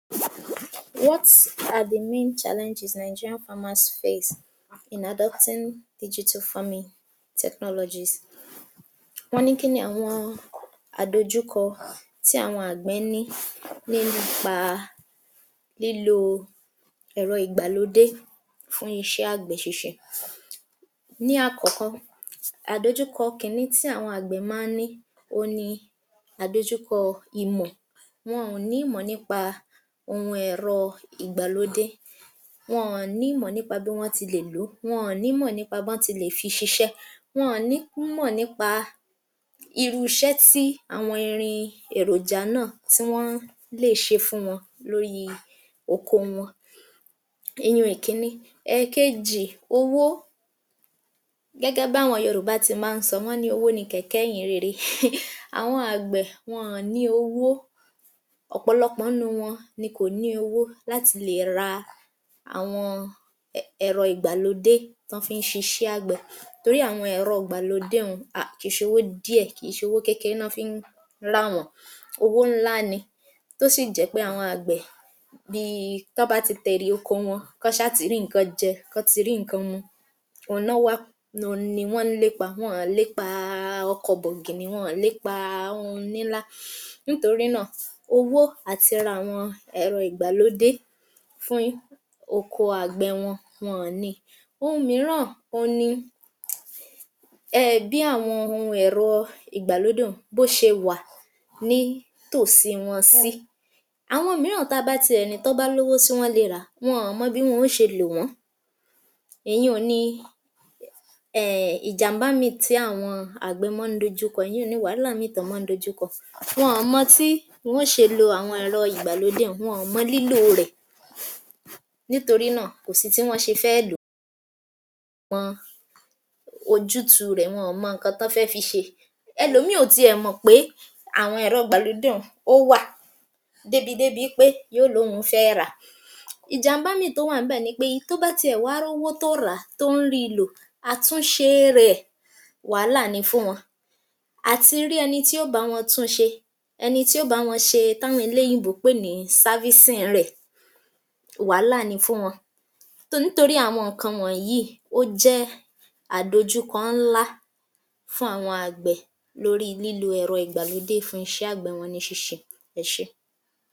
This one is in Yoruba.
46. What are the main challenges Nigerian farmers face in adopting digital forming technologies. Wọ́n ní kí ni àwọn àdojúkọ tí àwọn àgbẹ̀ ní lé nípa lílo ẹ̀rọ ìgbàlódé fún iṣẹ́ àgbẹ̀ ṣíṣe. Ní àkọ́kọ́, àdojúkọ kìíní tí àwọn àgbẹ̀ máa ń ní òhun ni àdojúkọ ìmọ̀ wọn-ọ̀n ní ìmọ̀ nípa ohun ẹ̀rọ ìgbàlódé, wọn-ọ̀n ni ìmọ̀ nípa bí wọ́n ti lè lò ó, wọn nímọ̀ nípa bọ́n ti lè fi ṣiṣẹ́. Wọn um nímọ̀ nípa irú iṣẹ́ tí àwọn irin èròjà náà tí wọ́n lè ṣe fún wọn lóríi oko wọn Ìyẹn ìkínní. Ẹ̀ẹ̀kejì, owó Gẹ́gẹ́ bí àwọn Yorùbá ti máa ń sọ wọ́n ní owó ni kẹ̀kẹ́ ìyìn rere, àwọn àgbẹ̀ wọn-ọ̀n ní owó ọ̀pọ̀lọpọ̀ ńnú wọn ni kò ní owó láti lè ra àwọn ẹ̀rọ ìgbàlódé tán fi ń ṣiṣẹ́ àgbẹ̀ torí àwọn ẹ̀rọ ìgbàlódé un à kìí ṣowó díẹ̀, kìí ṣowó kékeé ná fin ń rà wọ́n, owó ńlá ni tó sì jẹ́ pé àwọn àgbẹ̀ bíi tán bá ti tèrè oko wọn, kán ṣá ti rí nǹkan jẹ, kán ti rí nǹkan mu um òhun ni wọ́n ń lépa, wọn ọ̀n lépaaa ọkọ̀ bọ̀gìnnì, wọn ọ̀n lépaaa ohun níńlá nítorí náà, owó àti ra àwọn ẹ̀rọ ìgbàlódé fún oko àgbẹ̀ wọn, wọn ọ̀n ni. Ohun mìíràn òhun ni um bí àwọn ohun ẹ̀rọ ìgbàlódé un bó ṣe wà nítòsí wọn sí, àwọn mìíràn tá a bá ti ẹ̀ ní tán bá lówó ṣé wọ́n le ràá wọn ò mọ bí wọn ó ṣe lò wọ́n, ìyiùn ni um ìjàmbá míì tí àwọn àgbẹ̀ mọ́n ń dojúkọ ìyiun ni wàálà míì tán máa ń dojúkọ. Wọn mọ tí wọ́n ó ṣe lo àwọn ẹ̀rọ ìgbàlódé un wọn mọ lílòo rẹ̀ nítorí náà kò sí tí wọ́n ṣe fẹ́ lò ó [umum] mọ ojútùú rẹ̀, wọn mọ nǹkan tí wọ́n fẹ́ fi ṣe, ẹlòmíì ò ti ẹ̀ mọ̀ pé àwọn ẹ̀rọ ìgbàlódé un ó wa um débi wí pé yó lówùn-ún fẹ́ ràá. Ìjàmbá míì tó wà ń bẹ̀ ni pé tó bá ti ẹ̀ wá rówó tó rà á tó ń ríi lò, àtúnṣe rẹ̀ wàálà ni fún wọn àti rí ẹni tí ó bàá wọn tún un ṣe ẹni tí ó bàá wọn ṣe táwọn eléyìnbó ń pè ní servicing rẹ̀ wàálà ni fún wọn um torí àwọn nǹkan wọ̀nyí yìí jẹ́ àdojúkọ ńlá fún àwọn àgbẹ̀ lóríi lílo ẹ̀rọ ìgbàlódé fún iṣẹ́ àgbẹ̀ wọn ní ṣíṣe. Ẹ ṣé.